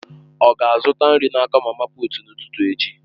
Ọ ga-azụta nri n'aka mama puut n'ụtụtụ echi?